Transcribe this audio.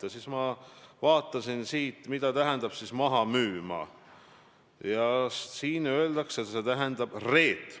Rääkisin, mida valitsus teeb selleks, et Eesti 1,3 miljonit elanikku oleksid võimalikult ühtsed.